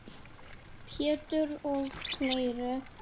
Pétur og fleiri.